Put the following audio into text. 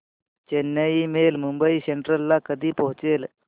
Chennai mail Mumbai central ला कधी पोहचेल